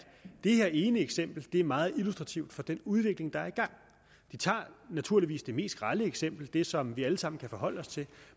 det her ene eksempel er meget illustrativt for den udvikling der er i gang de tager naturligvis det mest grelle eksempel det som vi alle sammen kan forholde os til